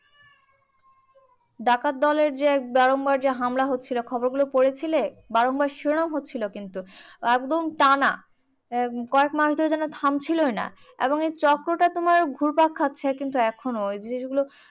ডাকাত দলের যে বারংবার যে হামলা হচ্ছিলো খবরগুলো পড়েছিলে। বারংবার শিরোনাম হচ্ছিলো কিন্তু। একদম টানা কয়েক মাস ধরে যেন থামছিলোই না। এবং এর চক্রটা তোমার ঘুরপাক খাচ্ছে কিন্তু এখনো। ওই জিনিসগুলো